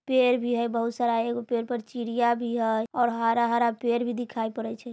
पेड़ भी हई बहुत सारा एगो पेड़ पर चिड़ियाँ भी हई और हरा-हरा पेड़ भी दिखाई पड़े छै।